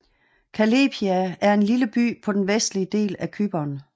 Kallepia er en lille by på den vestlige del af Cypern